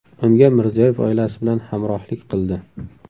Unga Mirziyoyev oilasi bilan hamrohlik qildi.